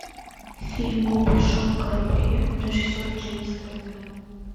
фильм о большом корабле режиссер джеймс кэмерон